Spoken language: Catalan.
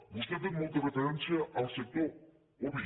vostè ha fet molta referència al sector oví